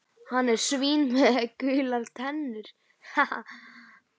Hann er svín með gular tennur.